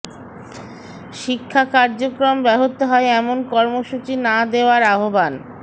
শিক্ষা কার্যক্রম ব্যাহত হয় এমন কর্মসূচি না দেওয়ার আহ্বান